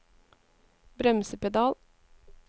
bremsepedal